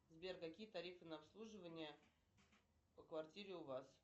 сбер какие тарифы на обслуживание по квартире у вас